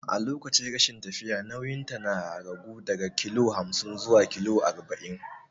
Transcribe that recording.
A lokacin rashin lafiya nauyinta ya ragu daga kilo hamsin zuwa kilo arba'in.